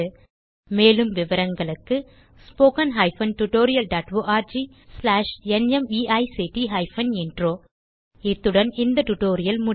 மேலும் விவரங்களுக்கு 1 இத்துடன் இந்த டியூட்டோரியல் முடிகிறது